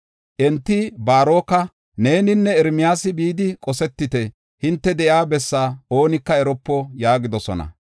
Enti Baaroka, “Neeninne Ermiyaasi bidi qosetite; hinte de7iya bessaa oonika eropo” yaagidosona.